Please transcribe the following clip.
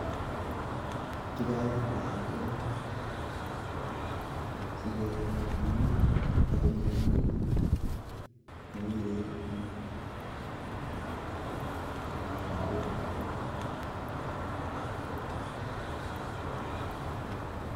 Kiboe lakwet komye asikobit koet komye akonyor ngubut